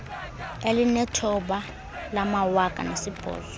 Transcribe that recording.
elinethoba lamawaka nesibhozo